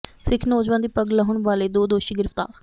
ਸਿੱਖ ਨੌਜਵਾਨ ਦੀ ਪੱਗ ਲਾਹੁਣ ਵਾਲੇ ਦੋ ਦੋਸ਼ੀ ਗਿ੍ਫ਼ਤਾਰ